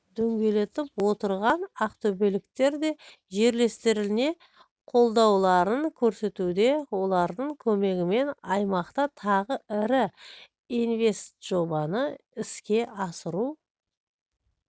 дөңгелетіп отырған ақтөбеліктер де жерлестеріне қолдауларын көрсетуде олардың көмегімен аймақта тағы ірі инвестжобаны іске асыру